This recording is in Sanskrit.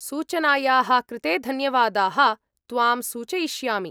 सूचनायाः कृते धन्यवादाः, त्वां सूचयिष्यामि।